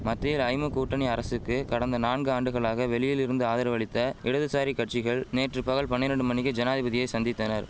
மத்தியில் ஐமு கூட்டணி அரசுக்கு கடந்த நான்கு ஆண்டுகளாக வெளியிலிருந்து ஆதரவளித்த இடதுசாரி கட்சிகள் நேற்று பகல் பனிரெண்டு மணிக்கு ஜனாதிபதியை சந்தித்தனர்